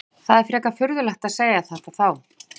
Það er frekar furðulegt að segja þetta þá?